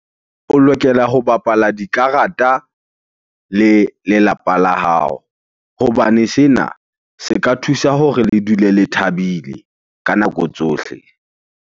O lokela ho bapala dikarata le lelapa la hao. Hobane sena se ka thusa hore le dule le thabile ka nako tsohle.